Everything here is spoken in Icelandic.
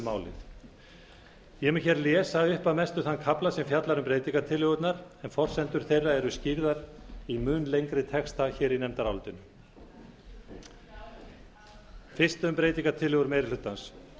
málið ég mun hér lesa upp að mestu þann kafla sem fjallar um breytingartillögurnar en forsendur þeirra eru skýrðar í mun lengri texta hér í nefndarálitinu fyrst um breytingartillögur meiri hlutans